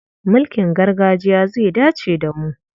Mulkin gargajiya zai dace da mu.